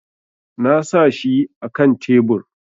Na sa shi akan tebur